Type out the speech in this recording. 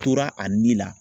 Tora a ni la.